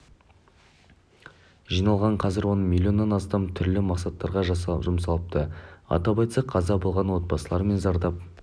жиналған қазір оның миллионнан астамы түрлі мақсаттарға жұмсалыпты атап айтсақ қаза болған отбасылар мен зардап